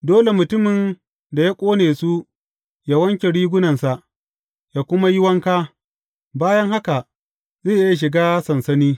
Dole mutumin da ya ƙone su yă wanke rigunansa yă kuma yi wanka, bayan haka zai iya shiga sansani.